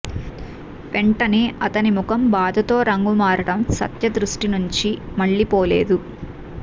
వెంటనే అతని ముఖం బాధతో రంగు మారడం సత్య దృష్టి నుంచి మళ్లిపోలేదు